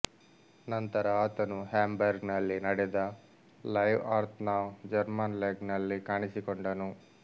ನಂತರ ಆತನು Hamburg ನಲ್ಲಿ ನಡೆದ ಲೈವ್ ಅರ್ಥ್ ನ ಜರ್ಮನ್ ಲೆಗ್ ನಲ್ಲಿ ಕಾಣಿಸಿಕೊಂಡನು